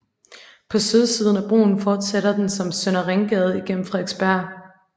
På sydsiden af broen fortsætter den som Søndre Ringgade gennem Frederiksbjerg